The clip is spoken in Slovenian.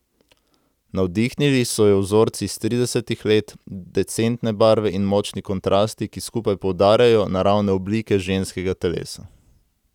Navdihnili so jo vzorci iz tridesetih let, decentne barve in močni kontrasti, ki skupaj poudarjajo naravne oblike ženskega telesa.